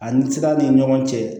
Ani sira ni ɲɔgɔn cɛ